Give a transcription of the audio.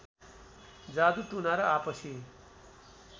जादु टुना र आपसी